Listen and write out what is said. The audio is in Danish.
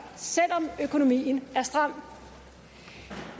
selv om økonomien er stram